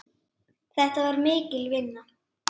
Þetta var mikil vinna.